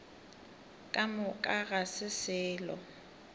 ka moka ga se selo